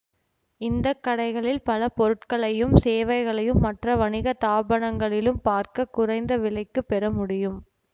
இந்த கடைகளில் பல பொருட்களையும் சேவைகளையும் மற்ற வணிக தாபனங்களிலும் பார்க்க குறைந்த விலைக்குப் பெற முடியும்